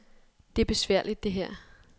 Det er besværligt, det her.